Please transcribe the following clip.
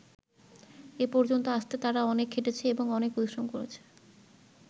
এ পর্যন্ত আসতে তারা অনেক খেটেছে এবং অনেক পরিশ্রম করেছে।